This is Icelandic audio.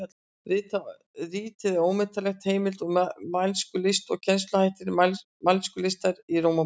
Ritið er ómetanleg heimild um mælskulist og kennsluhætti mælskulistar í Rómaborg.